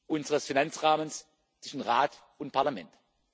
unseres Finanzrahmens zwischen Rat und